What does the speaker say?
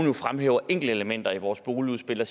jo fremhæver enkelte elementer i vores boligudspil og